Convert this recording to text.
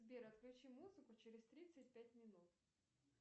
сбер отключи музыку через тридцать пять минут